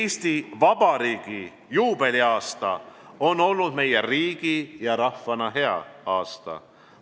Eesti Vabariigi juubeliaasta on olnud meile riigi ja rahvana hea aasta.